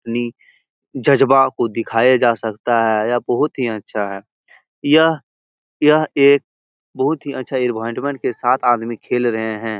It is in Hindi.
नि जज्बा को दिखाया जा सकता है। यह बहुत ही अच्छा है। यह यह एक बहोत ही अच्छा साथ आदमी खेल रहे हैं।